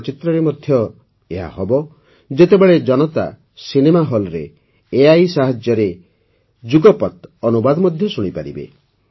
ଚଳଚ୍ଚିତ୍ରରେ ମଧ୍ୟ ଏହା ହେବ ଯେତେବେଳେ ଜନତା ସିନେମା ହଲ୍ରେ ଏଆଇ ସାହାଯ୍ୟରେ ଯୁଗପତ୍ ଅନୁବାଦ ଶୁଣିପାରିବେ